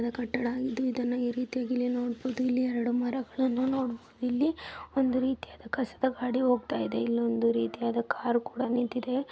ಒಂದು ಕಟಡ್ ಇ ರೀತಿಯಾಗಿ ಇಲ್ಲಿ ನೋಡಬಹುದು ಎರಡು ಮರಾ ಗಾಡಿ ಹೋಗ್ತಾ ಇದೆ ಅದೇ ರಿತಿಯದ್ ಕಾರ್ ಕುಡ್ ಇದೆ.